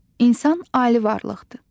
İnsan ali varlıqdır.